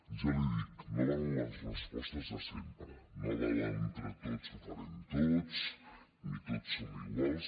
ja li ho dic no valen les respostes de sempre no val l’ entre tots ho farem tot ni tots som iguals